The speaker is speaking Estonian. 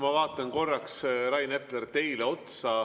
Ma vaatan korraks, Rain Epler, teile otsa.